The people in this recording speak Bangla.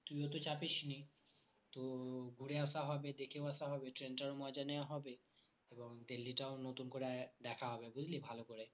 তুই ও তো চাপিসনি তো ঘুরে আসা হবে দেখেও আসা হবে train টার ও মজা নেওয়া হবে এবং দিল্লীটাও নতুন করে আরেকবার দেখা হবে বুঝলি ভালো করে